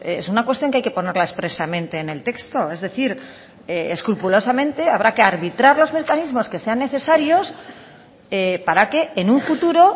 es una cuestión que hay que ponerla expresamente en el texto es decir escrupulosamente habrá que arbitrar los mecanismos que sean necesarios para que en un futuro